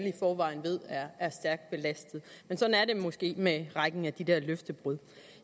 i forvejen er stærkt belastet men sådan er det måske med rækken af de der løftebrud